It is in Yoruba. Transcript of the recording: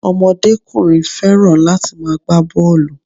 Omodékùnrin fẹ́ràn láti ma gbá bọ́ọ̀lù